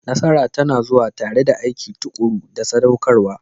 Nasara tana zuwa tare da aiki tuƙuru da saɗaukarwa.